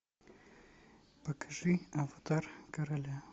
покажи аватар короля